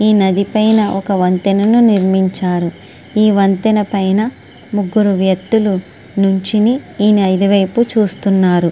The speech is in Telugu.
ఈ నది పైన ఒక వంతెనను నిర్మించారు ఈ వంతెన పైన ముగ్గురు వ్యక్తులు నించొని ఈ నది వైపు చూస్తున్నారు.